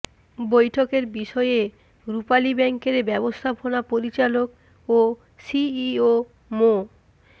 বৈঠকের বিষয়ে রূপালী ব্যাংকের ব্যবস্থাপনা পরিচালক ও সিইও মো